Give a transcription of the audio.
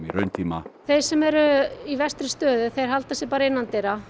rauntíma þeir sem eru í verstri stöðu halda sig bara innandyra